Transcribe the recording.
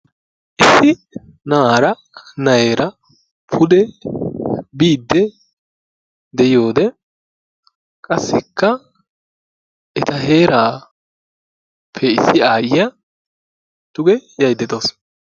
issi na'aara na'eera pude biiddi de'iyode qassika eta heerappe issi aayyiya duge yaydda dawusu.